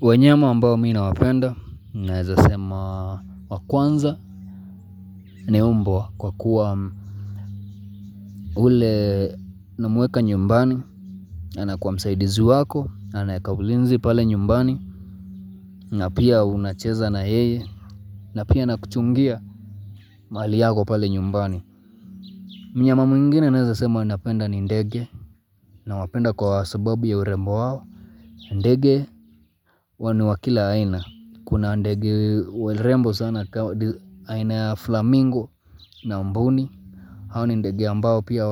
Wanyama ambao mimi ninawapenda ninaweza sema wa kwanza ni mbwa kwa kuwa yule ninamweka nyumbani anakuwa msaidizi wako, anaweka ulinzi pale nyumbani na pia unacheza na yeye na pia anakuchungia mali yako pale nyumbani Mnyama mwingine naweza sema napenda ni ndege nawapenda kwa sababu ya urembo wao ndege wa kila aina, kuna ndege warembo sana aina flamingo na mbuni, hao ni ndege ambao pia